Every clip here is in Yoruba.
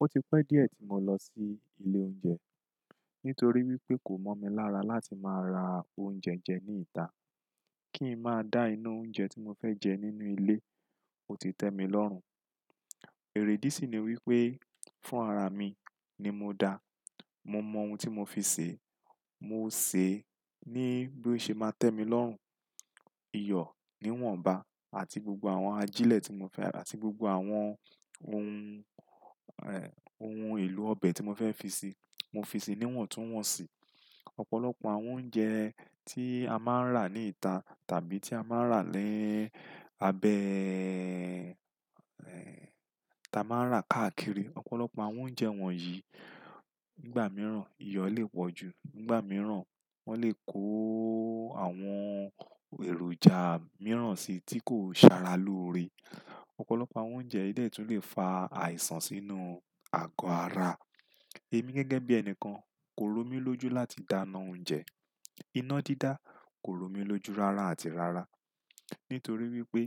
Ó ti pẹ́ díẹ̀ tí mo lọ sí ilé oúnjẹ nítorí wípé kò mọ́ mi lára láti máa ra oúnjẹ jẹ ní ìta. Kí n máa dá ina oúnjẹ tí mo fẹ́ jẹ nínú ilé ó ti tẹ́ mi lọ́run. Èrèdí sì ni wípé fún ara mi ni mo dá. Mo mọ ohun tí mo fi sè, mo sè ní bí ó ṣe máa tẹ́ mi lọ́run. Iyọ̀ níwọ̀nba àti gbogbo àwọn ajílẹ̀ àti gbogbo àwọn ohun, ohun èlò ọbẹ̀ tí mo fẹ́ fi ṣi, mo fi si níwọ̀n tún wọ̀n si. Ọ̀pọ̀lọpọ̀ àwọn oúnjẹ tí a máa ń rà ní ìta tàbí tí a máa ń rà ni abẹ. Táa máa ń rà káàkiri, ọ̀pọ̀lọpọ̀ àwọn oúnjẹ wọ̀nyíi nígbà mìíràn iyọ̀ lè pọ́ ju, nígbà mìíràn wọ́n lè kó àwọn èròjà mìíràn si tí kò ṣe ara lóore. Ọ̀pọ̀lọpọ̀ àwọn oúnjẹ yii dẹ̀ tún lè fa àìsàn sínú àgọ́ ara. Èmi gẹ́gẹ́ bí ẹnikan kò rò mí lójú láti dáná oúnjẹ. Iná dídá kò rò mí lójú rara àti rara. Nítorí wípé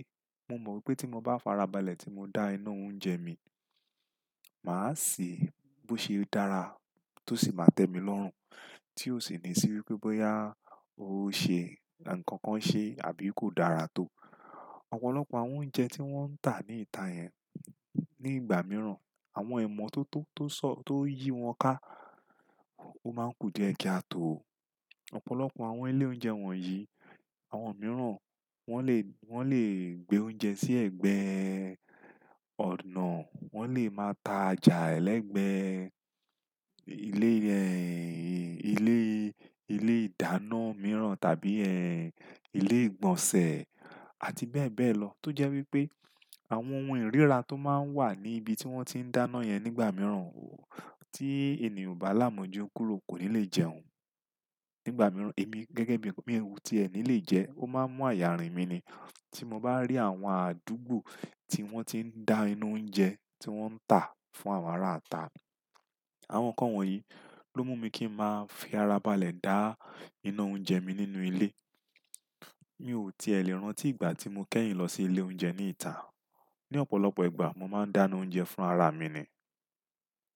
mo mọ̀ wípé tí mo bá farabalẹ̀ tí mo dá ina oúnjẹ mi, màá sè bó ṣe dára tó sì máa tẹ́ mi lọ́run. Tí ó sì ní sí wípé bóyá ó ṣe ǹnkan kan ṣe àbí kò dára tó. Ọ̀pọ̀lọpọ̀ àwọn oúnjẹ tí wọ́n ń tà ní ìta yẹn nígbà mìíràn àwọn ìmọ́tótó tó yí wọn ká ó máa ń kú diẹ́ kaà tó o. Ọ̀pọ̀lọpọ̀ àwọn ilé oúnjẹ wọ̀nyíi àwọn mìíràn wọ́n lè, wọ́n lè gbé oúnjẹ sí ẹ̀gbẹ́ ọ̀nà. Wọ́n lè máa ta jà ẹlẹ́gbẹ̀ẹ́ ilé, ilé, ilé ìdáná mìíràn tàbí, ilé ìgbọ̀nsẹ̀ àti bẹ́ẹ̀ bẹ́ẹ̀ lọ. Tó jẹ́ wípé àwọn ohun ìríra tó máa ń wà ní ibi tí wọ́n ti ń dáná yẹn nígbà mìíràn, tí ènìyàn o bá là mọ̀júkúrò kò ní lè jẹun. Nígbà mìíràn èmi gẹ́gẹ́ bí enikan mi o tí ẹ ni lè jẹ ó máa ń mú àyà rìn mi ni. Tí mo bá rí àwọn àdúgbò tí wọ́n ti ń dá ina oúnjẹ tí wọ́n ń tà fún àwọn ará ata, àwọn nǹkan wọ̀nyií ló mú mi kí ń máa fi ara balẹ̀ dá inú oúnjẹ mi nínú ilé. Mi ò tiẹ̀ lè rántí ìgbà tí mo kẹ́yìn lọ sí ilé oúnjẹ ní ìta. Ni ọ̀pọ̀lọpọ̀ ìgbà mo máa ń dáná oúnjẹ fún ara mi ni.